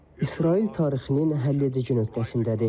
İsrail tarixinin həlledici nöqtəsindədir.